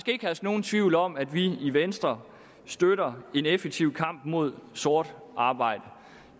herske nogen tvivl om at vi i venstre støtter en effektiv kamp mod sort arbejde